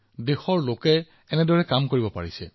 সেইকাৰণে দেশখনে সেইটো কৰিছে যিটো আগতে কেতিয়াও হোৱা নাছিল